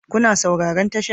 Kuna sauraron tashar?